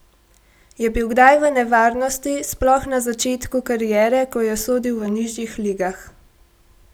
Je bil kdaj v nevarnosti, sploh na začetku kariere, ko je sodil v nižjih ligah?